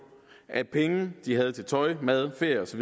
at penge de havde til tøj mad ferie osv